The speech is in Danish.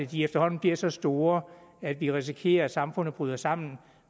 de efterhånden bliver så store at vi risikerer at samfundet bryder sammen